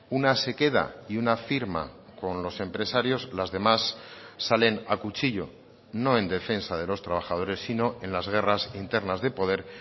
una se queda y una firma con los empresarios las demás salen a cuchillo no en defensa de los trabajadores sino en las guerras internas de poder